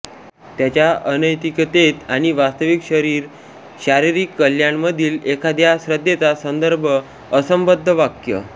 त्याच्या अनैतिकतेत आणि वास्तविक शरीर शारीरिक शारीरिक कल्याणमधील एखाद्याच्या श्रद्धेचा संदर्भ असंबद्ध वाक्य